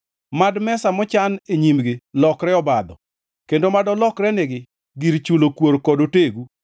Mad mesa mochan e nyimgi lokre obadho; kendo mad olokrenegi gir chulo kuor kod otegu.